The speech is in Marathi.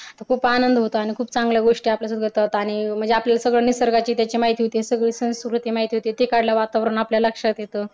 खूप आनंद होतो आणि खूप चांगल्या गोष्टी आपल्या सोबत होतात पाणी म्हणजे आपल्याला निसर्गाचीत्याची माहिती होते ते काढलं वातावर आपल्याला असते